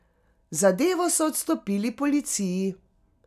Zadevo so odstopili policiji.